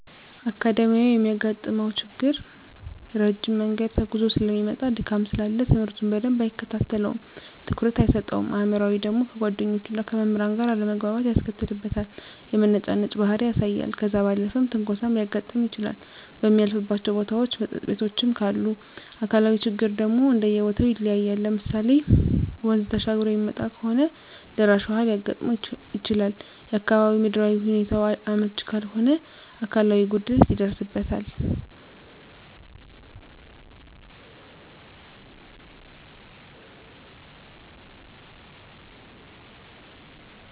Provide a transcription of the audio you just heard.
አካዳሚካያዊ የሚያጋጥመው ችግር ረጅም መንገድ ተጉዞ ሰለሚመጣ ድካም ስላለ ትምህርቱን በደንብ አይከታተለውም ትኩረት አይሰጠውም። አእምሯዊ ደግሞ ከጓደኞቹና ከመምህራን ጋር አለመግባባት ያስከትልበታል የመነጫነጭ ባህሪ ያሳያል። ከዛ ባለፈም ትንኮሳም ሊያጋጥም ይችላል በሚያልፍባቸው ቦታዎች መጠጥ ቤቶችም ካሉ። አካላዊ ችግሮች ደግሞ እንደየቦተው ይለያያል ለምሳሌ ወንዝ ተሻግሮ የሚመጣ ከሆነ ደራሽ ውሀ ሊያጋጥመው ይችላል፣ የአካባቢው ምድራዊ ሁኔታው አመች ካልሆነ አካላዊ ጉድለት ይደርስበታል።